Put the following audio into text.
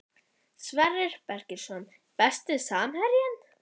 Sverrir Bergsteinsson Besti samherjinn?